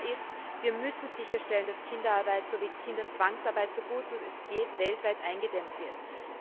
Klar ist Wir müssen sicherstellen, dass Kinderarbeit sowie Kinderzwangsarbeit, so gut es geht, weltweit eingedämmt werden.